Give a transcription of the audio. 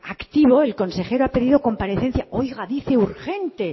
activo el consejero ha pedido comparecencia oiga dice urgente